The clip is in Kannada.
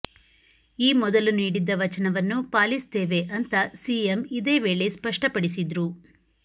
ಈ ಮೊದಲು ನೀಡಿದ್ದ ವಚನವನ್ನು ಪಾಲಿಸ್ತೇವೆ ಅಂತ ಸಿಎಂ ಇದೇ ವೇಳೆ ಸ್ಪಷ್ಟಪಡಿಸಿದ್ರು